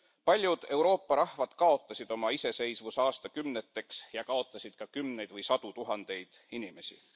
Paljud Euroopa rahvad kaotasid oma iseseisvuse aastakümneteks ja kaotasid ka kümneid või sadu tuhandeid inimesi.